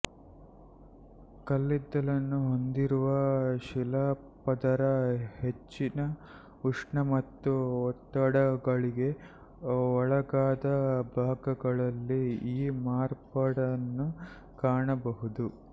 ಕಲ್ಲಿದ್ದಲನ್ನು ಹೊಂದಿರುವ ಶಿಲಾಪದರ ಹೆಚ್ಚಿನ ಉಷ್ಣ ಮತ್ತು ಒತ್ತಡಗಳಿಗೆ ಒಳಗಾದ ಭಾಗಗಳಲ್ಲಿ ಈ ಮಾರ್ಪಾಡನ್ನು ಕಾಣಬಹುದು